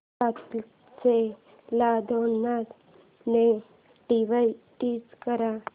सातशे ला दोन ने डिवाइड कर